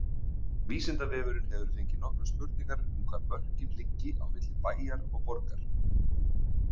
Vísindavefurinn hefur fengið nokkrar spurningar um hvar mörkin liggi á milli bæjar og borgar.